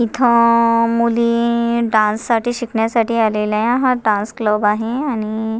इथ अ मुली डान्स साठी शिकण्यासाठी आलेल्या हा डान्स क्लब आहे आणि--